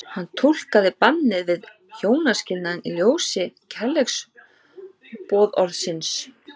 Hann túlkaði bannið við hjónaskilnaði í ljósi kærleiksboðorðsins.